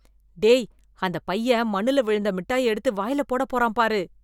டேய், அந்த பையன் மண்ணுல விழுந்த மிட்டாய எடுத்து வாயில போட போறான் பாரு.